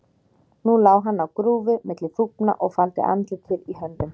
Nú lá hann á grúfu milli þúfna og faldi andlitið í höndum sér.